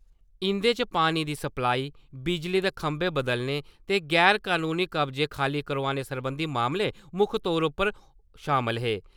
इंदे च पानी दी सप्लाई, बिजली दे खंबे बदलने ते गैर-कनूनी कब्जे खाली करोआने सरबंधी मामले मुक्ख तौर उप्पर शामल हे।